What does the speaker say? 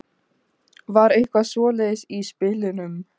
Var eitthvað svoleiðis í spilunum?